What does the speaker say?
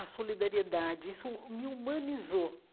A solidariedade, isso me humanizou.